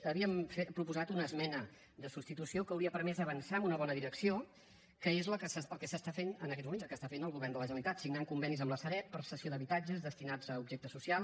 hi havíem proposat una esmena de substitució que hauria permès avançar en una bona direcció que és el que s’està fent en aquests moments el que està fent el govern de la generalitat signar convenis amb la sareb per a cessió d’habitatges destinats a objecte social